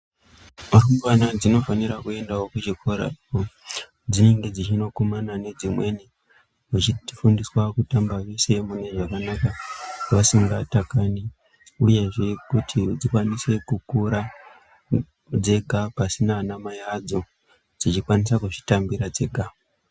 Rumbwana dzinofanira kuendavo kuchikorako kwadzinenge dzichinokumbana nedzimweni dzichifundiswa kutamba vese zvakanaka vasingatakani ,uyezve kuti dzikwanise kukura dzega pasina ana mai adzo dzichikwanisa kudzitambira dzega.